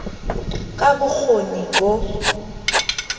ka b o kgoni bo